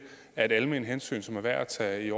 er et alment hensyn som er værd at tage